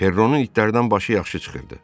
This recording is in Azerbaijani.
Perronun itlərdən başı yaxşı çıxırdı.